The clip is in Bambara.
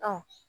Ɔ